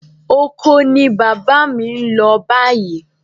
Oko ni bàbá mi ń lọ báyìí.